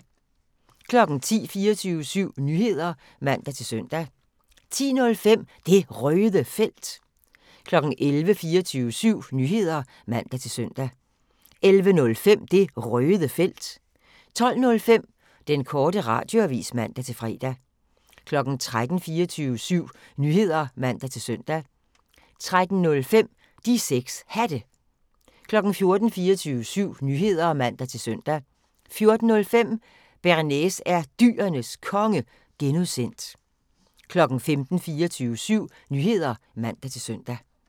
10:00: 24syv Nyheder (man-søn) 10:05: Det Røde Felt 11:00: 24syv Nyheder (man-søn) 11:05: Det Røde Felt 12:05: Den Korte Radioavis (man-fre) 13:00: 24syv Nyheder (man-søn) 13:05: De 6 Hatte 14:00: 24syv Nyheder (man-søn) 14:05: Bearnaise er Dyrenes Konge (G) 15:00: 24syv Nyheder (man-søn)